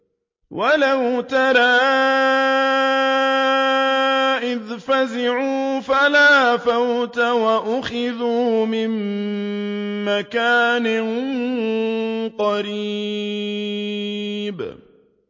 وَلَوْ تَرَىٰ إِذْ فَزِعُوا فَلَا فَوْتَ وَأُخِذُوا مِن مَّكَانٍ قَرِيبٍ